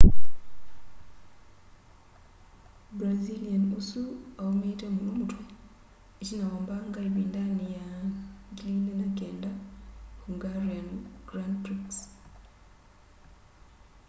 brazilian ũsu aũmĩĩte mũno mũtwe ĩtina wa mbanga ĩvĩndanĩ ya 2009 hungarian grand prix